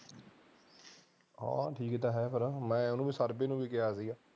ਹਾਂ ਠੀਕ ਤਾਂ ਹੈਗਾ ਐ ਮੈਂ ਉਹਨੂੰ ਪਰਦੇ ਨੂੰ ਵੀ ਕਿਹਾ ਸੀਗਾ